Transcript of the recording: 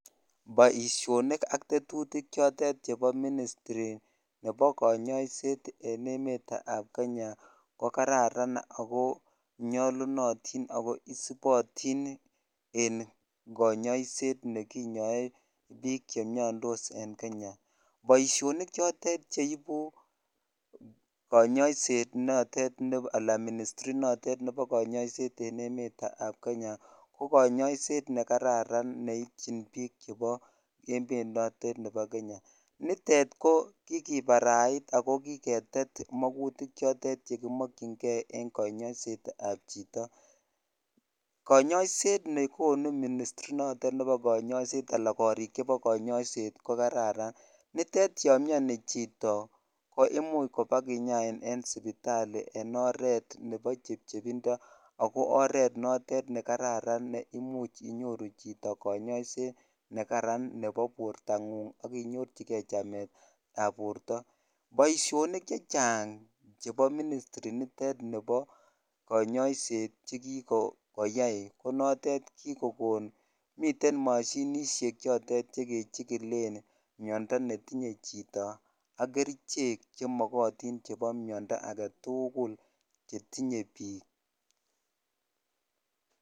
Boishonik ak tetutik chotet chebo ministri nebo konyoiset en emetab Kenya ko kararan ak ko nyolunotin ak ko isipotin en konyoiset ne kinyoe biik chemiondos en Kenya, boshonik chotet cheibu konyoiset notet alaa ministry notet nebo konyoiset en emetab Kenya ko konyoiset nekararan neityin biik chebo emet notet nebo kenya, nitet ko kikibarait ak ko kiketet makutik chotet chekimokying'e en konyoisetab chito, konyoiset nekonu ministri notet nebo konyoiset alaa korik chebo konyoiset ko kararan, nitet yoon mioni chito ko imuch kibakinyain en sipitali en oreet nebo chepchepindo ak ko oreet notet nekararan neimuch inyoru chito konyoiset nekaran nebo bortang'ung ak inyorchike chametab borto, boishonik chechang chebo ministri nitet nibo konyoiset chekikoyai ko notet kikokon miten moshinishek chotet che kechikilen miondo netinye chito ak kerichek chemokotin chebo miondo aketukul chetinye biik.